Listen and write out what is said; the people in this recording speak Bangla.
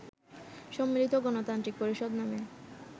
সম্মিলিত গণতান্ত্রিক পরিষদ নামে